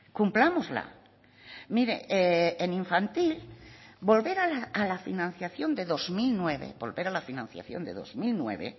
cumplámosla mire en infantil volver a la financiación de dos mil nueve volver a la financiación de dos mil nueve